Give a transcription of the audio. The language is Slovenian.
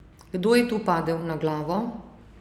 Kdo je tu padel na glavo?